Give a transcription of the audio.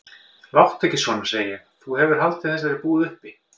Láttu ekki svona, segi ég, þú hefur haldið þessari búð uppi.